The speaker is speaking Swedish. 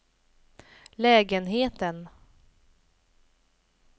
lägenheten